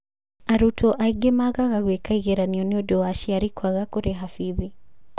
Arutwo aingĩ magaga gũĩka igeranio nĩũndũ wa aciari kũaga kũrĩha bithi